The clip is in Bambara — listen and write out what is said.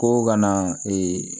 Ko ka na